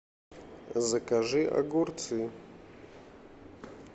закажи огурцы